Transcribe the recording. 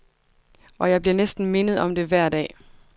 Og jeg bliver næsten mindet om det hver dag.